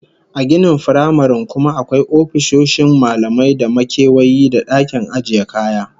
A ginin firamaren kuma akwai ofisoshin malamai da makewayi da dakin ajiye kaya